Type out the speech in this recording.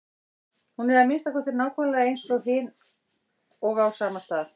Hún er að minnsta kosti nákvæmlega eins og hin og á sama stað.